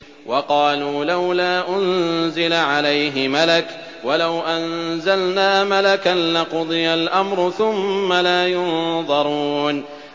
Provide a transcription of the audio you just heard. وَقَالُوا لَوْلَا أُنزِلَ عَلَيْهِ مَلَكٌ ۖ وَلَوْ أَنزَلْنَا مَلَكًا لَّقُضِيَ الْأَمْرُ ثُمَّ لَا يُنظَرُونَ